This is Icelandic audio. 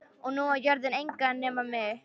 Og nú á jörðin engan að nema mig.